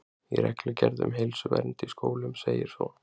Í reglugerð um heilsuvernd í skólum segir svo